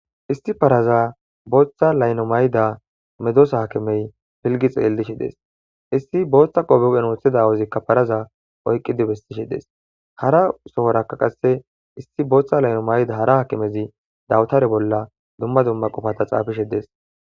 Isti paraza booththa layno mayida medosa hakimey filgi xeellishe dees isti booththa qoobiqen ooththeda awozikka paraza oyqqi dibestishe dees hara sohorakka qasse isti booththa layno mayda hara hakimezi dawutare bolla dumma dumma qofata dees